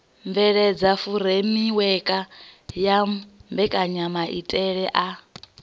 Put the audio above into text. bveledza furemiweke ya mbekanyamaitele a